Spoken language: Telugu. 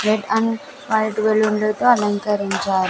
రెడ్ అండ్ వైట్ బెలూన్ లతో అలంకరించారు.